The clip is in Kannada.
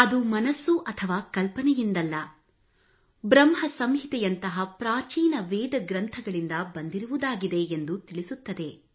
ಅದು ಮನಸ್ಸು ಅಥವಾ ಕಲ್ಪನೆಯಿಂದಲ್ಲದೇ ಬ್ರಹ್ಮ ಸಂಹಿತೆಯಂತಹ ಪ್ರಾಚೀನ ವೇದ ಗ್ರಂಥಗಳಿಂದ ಬಂದಿರುವುದಾಗಿದೆ ಎಂದು ತಿಳಿಸುತ್ತದೆ